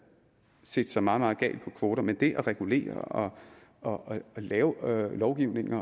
set sig meget meget gal på kvoter men det at regulere og lave lovgivning og